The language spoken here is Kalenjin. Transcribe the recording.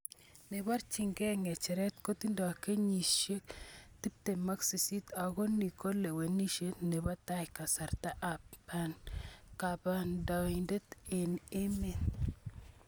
Neborchin ke ngecheret kotindo kenyisiek 38 ako ni ko lewenisiet nebo tai kasarta ab kandoindet ab emet.